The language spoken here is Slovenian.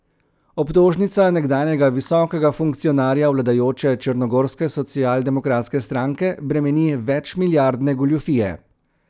Obtožnica nekdanjega visokega funkcionarja vladajoče črnogorske socialdemokratske stranke bremeni večmilijardne goljufije.